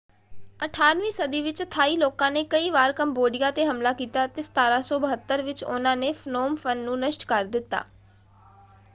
18 ਵੀਂ ਸਦੀ ਵਿੱਚ ਥਾਈ ਲੋਕਾਂ ਨੇ ਕਈ ਵਾਰ ਕੰਬੋਡੀਆਂ ‘ਤੇ ਹਮਲਾ ਕੀਤਾ ਅਤੇ 1772 ਵਿੱਚ ਉਹਨਾਂ ਨੇ ਫਨੋਮ ਫ਼ਨ ਨੂੰ ਨਸ਼ਟ ਕਰ ਦਿੱਤਾ।